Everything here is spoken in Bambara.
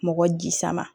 Mɔgɔ jisama